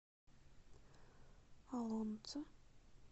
олонца